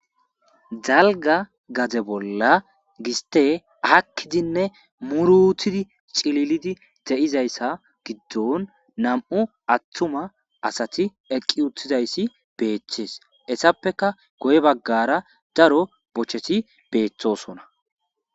dalga gaze bolla giste akkidinne murutidi cililidi de7izayssa giddon nam7u atthuma asati eqqi uttizayssi beechchees essappeka goy baggara daro bocheti beeththosona